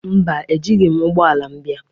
Mba, Ejighị m ụgbọ ala m bịa.